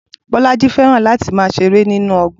Bolaji fẹ́ràn láti máa ṣeré nínú ọgbà